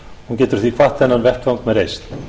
hún getur því kvatt þennan vettvang með reisn